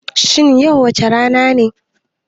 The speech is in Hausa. Shin yau wace rana ne